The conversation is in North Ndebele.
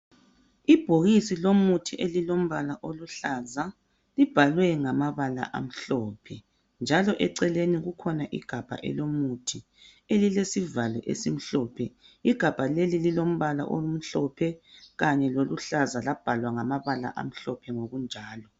Ibhokisi lomuthi elilombala oluhlaza. Libhalwe ngamabala amhlophe, njalo eceleni kukhona igabha elomuthi elilesivalo esimhlophe. Igabha leli lilombala omhlophe kanye loluhlaza labhalwa ngamabala amhlophe ngokunjalo.